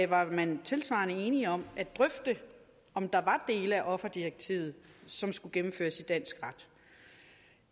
var man tilsvarende enige om at drøfte om der var dele af offerdirektivet som skulle gennemføres i dansk ret